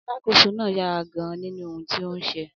Alákòóso náà yára gan-an nínú ohun tí ó ń ṣe.